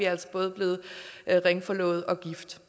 altså både blevet ringforlovet og gift